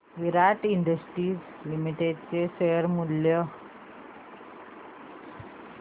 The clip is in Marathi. विराट इंडस्ट्रीज लिमिटेड चे शेअर मूल्य